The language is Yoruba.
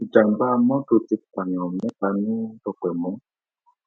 ìjàḿbà um mọtò ti pààyàn mẹta ní dọpẹmù